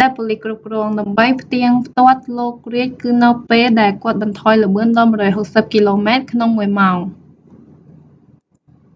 ដែលប៉ូលីសគ្រប់គ្រង ដើម្បីផ្ទៀងផ្ទាត់លោក រៀឌ គឺនៅពេល ដែលគាត់បន្ថយល្បឿនដល់160គីឡូម៉ែត្រក្នុងមួយម៉ោង